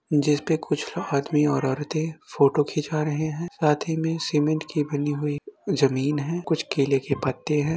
जिस पे कुछ आदमी और औरतें फोटो खींचा रहे हैं। साथ ही में सीमेंट की बनी हुई जमीन है। कुछ केले के पत्ते हैं।